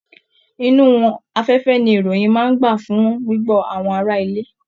Inú afẹ́fẹ́ ní ìròyìn máa n gbà fún gbigbọ àwọn ará ilé.